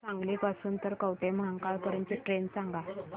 मला सांगली पासून तर कवठेमहांकाळ पर्यंत ची ट्रेन सांगा